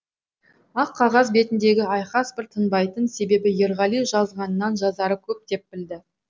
ақ қағаз бетіндегі айқас бір тынбайтын себебі ерғали жазғанынан жазары көп деп білді